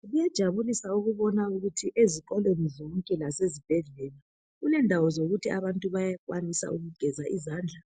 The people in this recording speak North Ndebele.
Kuyajabulisa ukubona ukuthi ezikolweni zonke lasezibhedlela kulendawo zokuthi abantu bayenelisa ukugeza izandla,